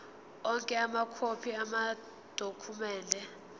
onke amakhophi amadokhumende